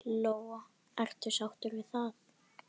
Lóa: Ertu sáttur við það?